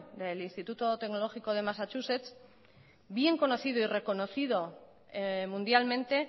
del instituto tecnológico de massachussets bien reconocido y reconocido mundialmente